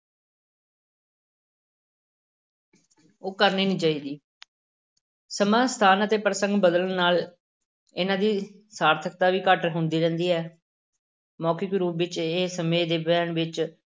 ਉਹ ਕਰਨੀ ਨੀ ਚਾਹੀਦੀ ਸਮਾਂ, ਸਥਾਨ ਅਤੇ ਪ੍ਰਸੰਗ ਬਦਲਣ ਨਾਲ ਇਹਨਾਂ ਦੀ ਸਾਰਥਕਤਾ ਵੀ ਘੱਟ-ਵੱਧ ਹੁੰਦੀ ਰਹਿੰਦੀ ਹੈ ਮੌਖਿਕ ਰੂਪ ਵਿੱਚ ਇਹ ਸਮੇਂ ਦੇ ਵਹਿਣ ਵਿੱਚ